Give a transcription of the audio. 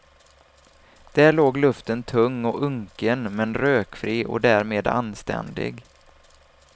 Där låg luften tung och unken men rökfri och därmed anständig.